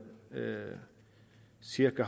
cirka